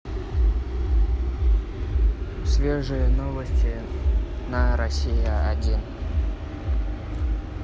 свежие новости на россия один